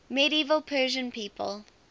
medieval persian people